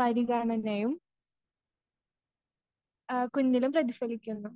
പരിഗണനയും ആ കുഞ്ഞിലും പ്രതിഫലിക്കുന്നു.